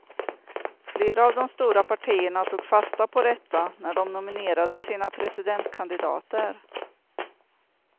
Flera av de stora partierna tog fasta på detta när de nominerade sina presidentkandidater.